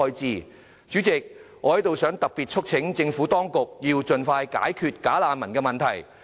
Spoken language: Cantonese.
代理主席，我特別促請政府當局盡快解決"假難民"的問題。